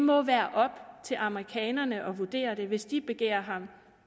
må være op til amerikanerne at vurdere det hvis de begærer ham